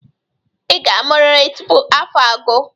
Ị ga-amụrịrị tupu afọ a agụ.